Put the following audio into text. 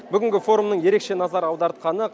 бүгінгі форумның ерекше назар аудартқаны